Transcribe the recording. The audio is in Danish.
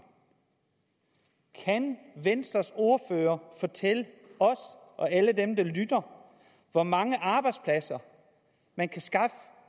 kan venstres ordfører fortælle os og alle dem der lytter hvor mange arbejdspladser man kan skaffe